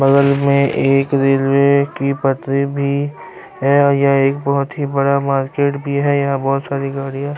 بگل مے ایک ریلوے کی پٹری بھی ہے اور یہ ایک بھوت ہی بڑا مارکیٹ بھی ہے۔ یہا بھوت ساری گاڑیا--